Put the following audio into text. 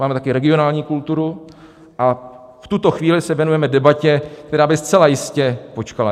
Máme také regionální kulturu, a v tuto chvíli se věnujeme debatě, která by zcela jistě počkala.